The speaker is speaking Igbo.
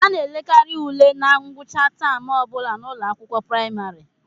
A na-elekarị ule na ngwụcha taam ọ bụla n'ụlọakwụkwọ praịmarị